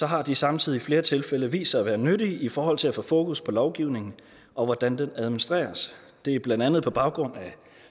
har de samtidig i flere tilfælde vist sig at være nyttige i forhold til at få fokus på lovgivningen og hvordan den administreres det er blandt andet på baggrund af